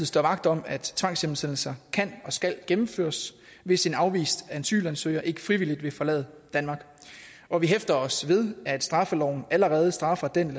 står vagt om at tvangshjemsendelse kan og skal gennemføres hvis en afvist asylansøger ikke frivilligt vil forlade danmark og vi hæfter os ved at straffeloven allerede straffer den